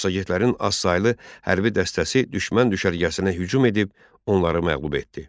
Massagetlərin azsaylı hərbi dəstəsi düşmən düşərgəsinə hücum edib onları məğlub etdi.